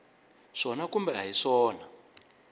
swona kumbe a hi swona